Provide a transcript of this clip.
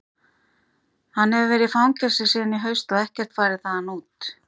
Hann hefur verið í fangelsi síðan í haust og ekkert farið þaðan út.